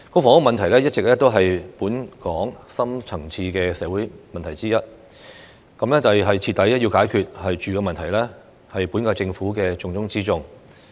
房屋問題一直是本港深層次社會問題之一，徹底解決"住"的問題，是本屆政府的重中之重。